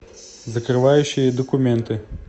закрывающие документы